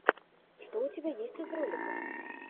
что у тебя есть из роликов